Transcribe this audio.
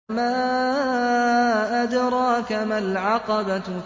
وَمَا أَدْرَاكَ مَا الْعَقَبَةُ